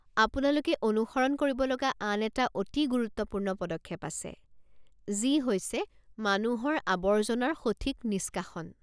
আপোনালোকে অনুসৰণ কৰিব লগা আন এটা অতি গুৰুত্বপূৰ্ণ পদক্ষেপ আছে, যি হৈছে মানুহৰ আৱৰ্জনাৰ সঠিক নিষ্কাশন।